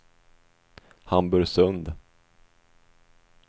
Hamburgsund